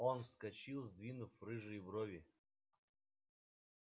он вскочил сдвинув рыжие брови